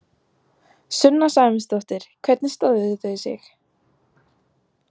Sunna Sæmundsdóttir: Hvernig stóðu þau sig?